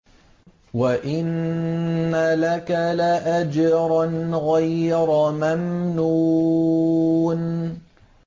وَإِنَّ لَكَ لَأَجْرًا غَيْرَ مَمْنُونٍ